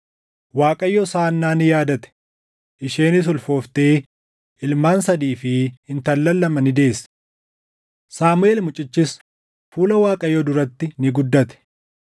Waaqayyos Haannaa ni yaadate; isheenis ulfooftee ilmaan sadii fi intallan lama ni deesse. Saamuʼeel mucichis fuula Waaqayyoo duratti ni guddate.